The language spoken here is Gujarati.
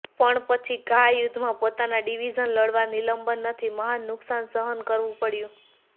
પણ પછી ઘા યુદ્ધમાં પોતાના ડિવિઝન લડવા નિલંબન નથી મહાન નુકસાન સહન કરવું પડ્યું